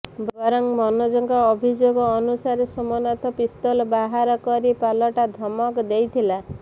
ବରଂ ମନୋଜଙ୍କ ଅଭିଯୋଗ ଅନୁସାରେ ସୋମନାଥ ପିସ୍ତଲ ବାହାର କରି ପାଲଟା ଧମକ ଦେଇଥିଲା